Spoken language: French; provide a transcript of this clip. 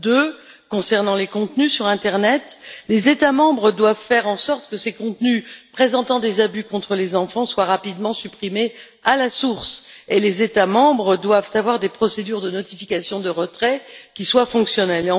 Deuxièmement, en ce qui concerne les contenus sur l'internet, les États membres doivent faire en sorte que ces contenus présentant des abus contre les enfants soient rapidement supprimés à la source et ils doivent avoir des procédures de notification de retrait qui soient fonctionnelles.